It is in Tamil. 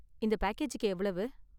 இந்த பேக்கேஜுக்கு எவ்வளவு?